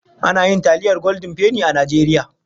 Ana yin taliyar goldin feni a Najeriya.